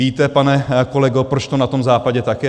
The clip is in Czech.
Víte, pane kolego, proč to na tom Západě tak je?